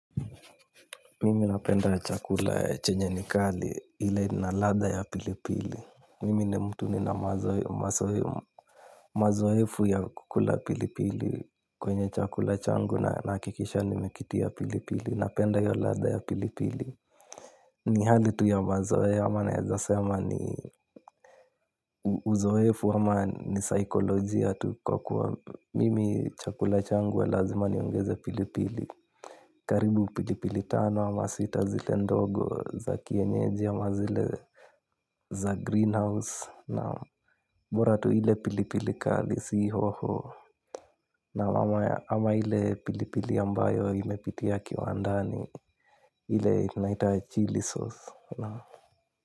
Mimi napenda chakula chenye nikali ile ina ladha ya pilipili. Mimi ni mtu ni na mazoefu ya kukula pilipili kwenye chakula changu na nahakikisha nimekitia pilipili. Napenda iyo ladha ya pilipili. Ni hali tu ya mazoea ama naezasema ni uzoefu ama ni saikolojia tu kwa kuwa mimi chakula changu huwa lazima niongeze pilipili. Karibu pilipili tano ama sita zile ndogo za kienyeji ama zile za greenhouse naam boratu ile pilipili kali si hoho. Na mama ya ama ile pilipili ambayo imepitia kiwa ndani ile naita chili sauce.